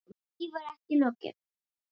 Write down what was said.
En því var ekki lokið.